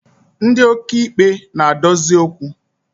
Ndi okeikpe na-adozi okwu